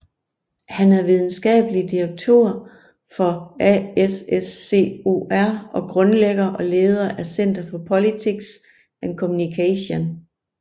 Han er videnskabelig direktor for ASCoR og grundlægger og leder af Center for Politics and Communication